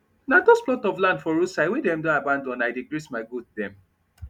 na dos plot of land for roadside wey dem don abandon i dey graze my goat dem